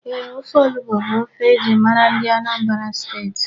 Ofe onugbu bụ ofe e ji mara ndị Anambra Steeti.